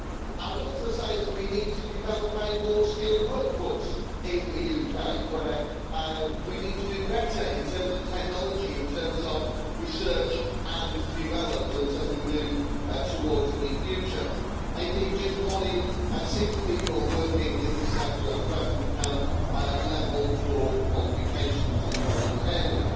I would also say that we need to develop a more skilled workforce in the UK, where we need to do better in terms of technology, in terms of research and development, as we move towards the future. Indeed, just 1 in 6 people working in this sector at present have level 4 qualifications in a relevant area.